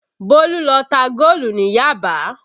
Bólú lọ ta góòlù ní Yaba